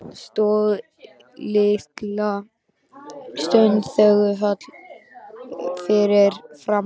Stóð litla stund þögull fyrir framan mig.